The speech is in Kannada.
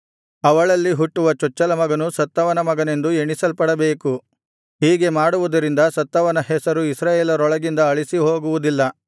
ಅವಳಲ್ಲಿ ಹುಟ್ಟುವ ಚೊಚ್ಚಲಮಗನು ಸತ್ತವನ ಮಗನೆಂದು ಎಣಿಸಲ್ಪಡಬೇಕು ಹೀಗೆ ಮಾಡುವುದರಿಂದ ಸತ್ತವನ ಹೆಸರು ಇಸ್ರಾಯೇಲರೊಳಗಿಂದ ಅಳಿಸಿ ಹೋಗುವುದಿಲ್ಲ